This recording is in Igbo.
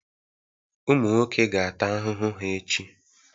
Ụmụ nwoke ga-ata ahụhụ ha echi.